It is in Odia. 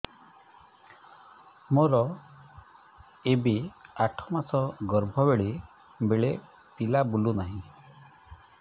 ମୋର ଏବେ ଆଠ ମାସ ଗର୍ଭ ବେଳେ ବେଳେ ପିଲା ବୁଲୁ ନାହିଁ